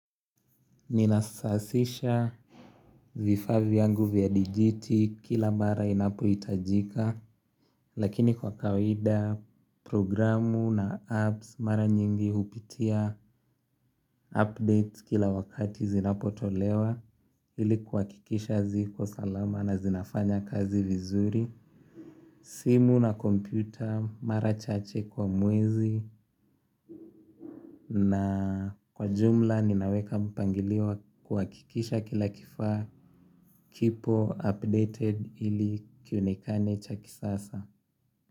Ninasasisha vifaa vyangu vya dijiti kila mara inapohitajika. Lakini kwa kawaida programu na apps mara nyingi hupitia update kila wakati zinapo tolewa ili kuhakikisha ziko salama na zinafanya kazi vizuri. Simu na kompyuta mara chache kwa mwezi. Na kwa jumla ninaweka mpangilio wa kuhakikisha kila kifaa kipo updated ili kionekane cha kisasa.